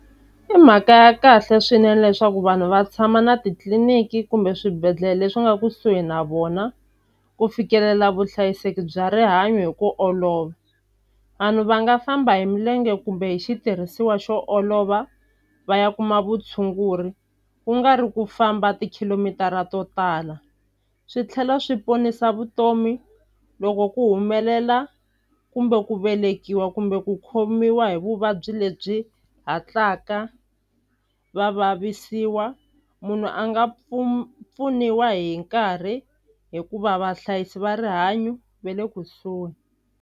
I mhaka ya kahle swinene leswaku vanhu va tshama na titliliniki kumbe swibedhlele leswi nga kusuhi na vona ku fikelela vuhlayiseki bya rihanyo hi ku olova vanhu va nga famba hi milenge kumbe hi xitirhisiwa xo olova va ya kuma vutshunguri ku nga ri ku famba tikhilomitara to tala swi tlhela swi ponisa vutomi loko ku humelela kumbe ku velekiwa kumbe ku khomiwa a hi vuvabyi lebyi hatlaka va vavisiwa munhu a nga pfuniwa hi nkarhi hikuva vahlayisi va rihanyo va le kusuhi.